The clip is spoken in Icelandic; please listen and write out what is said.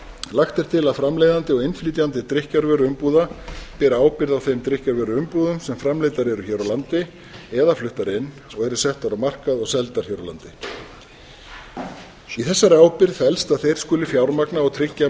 lagt er til að framleiðandi og innflytjandi drykkjarvöruumbúða beri ábyrgð á þeim drykkjarvöruumbúðum sem framleiddar eru hér á landi eða fluttar inn og eru settar á markað og seldar hér á landi í þessari ábyrgð felst að þeir skuli fjármagna og tryggja